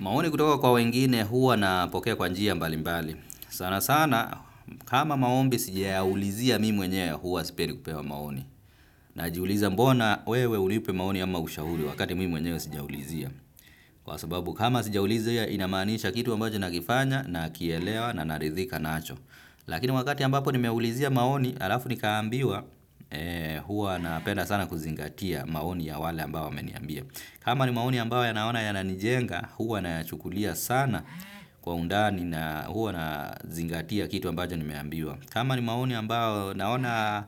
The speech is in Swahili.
Maoni kutoka kwa wengine huwa napokea kwa njia mbali mbali. Sana sana kama maombi sijayaulizia mi mwenyewe huwa sipendi kupewa maoni. Najiuliza mbona wewe unipi maoni ama ushauri wakati mi mwenyewe sija ulizia. Kwa sababu kama sija uliza inamaanisha kitu ambacho na kifanya nakielewa na naridhika nacho. Lakini wakati ambapo nimeulizia maoni alafu nikaambiwa huwa napenda sana kuzingatia maoni ya wale ambao wameniambia. Kama ni maoni ambao yanaona yananijenga huwa nayachukulia sana kwa undani na huwa nazingatia kitu ambacho nimeambiwa. Kama ni maoni ambao naona